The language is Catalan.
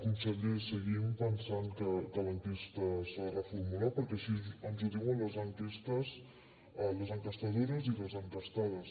conseller seguim pensant que l’enquesta s’ha de reformular perquè així ens ho diuen les enquestadores i les enquestades